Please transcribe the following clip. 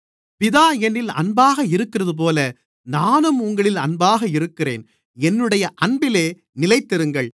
பிதா என்னில் அன்பாக இருக்கிறதுபோல நானும் உங்களில் அன்பாக இருக்கிறேன் என்னுடைய அன்பிலே நிலைத்திருங்கள்